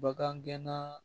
Bagan gɛnna